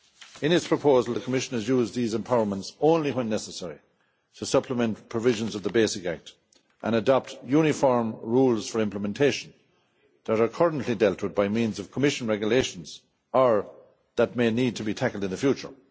In its proposal, the Commission has used these empowerments only when necessary to supplement provisions of the basic act and adopt uniform rules for implementation that are currently dealt with by means of Commission regulations or that may need to be tackled in the future.